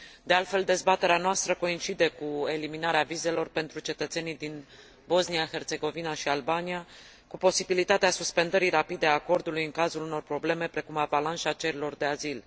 De altfel, dezbaterea noastră coincide cu eliminarea vizelor pentru cetățenii din Bosnia, Herțegovina și Albania, cu posibilitatea suspendării rapide a acordului în cazul unor probleme, precum avalanșa cererilor de azil.